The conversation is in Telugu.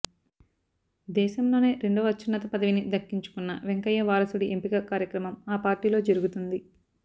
దేశంలోనే రెండవ అత్యున్నత పదవిని దక్కించుకున్న వెంకయ్య వారసుడి ఎంపిక కార్యక్రమం ఆ పార్టీలో జరుగుతుంది